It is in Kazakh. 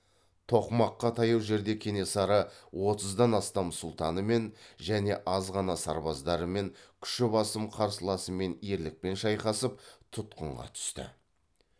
тоқмаққа таяу жерде кенесары отыздан астам сұлтанымен және аз ғана сарбаздарымен күші басым қарсыласымен ерлікпен шайқасып тұтқынға түсті